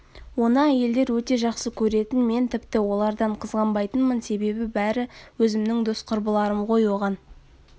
оны әйелдер өте жақсы көретін мен тіпті олардан қызғанбайтынмын себебі бәрі өзімнің дос құрбыларым ғой оған